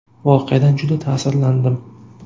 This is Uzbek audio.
Voqeadan juda ta’sirlandim.